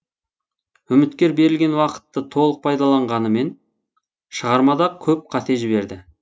үміткер берілген уақытты толық пайдаланғанымен шығармада көп қате жіберді